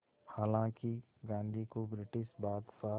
हालांकि गांधी को ब्रिटिश बादशाह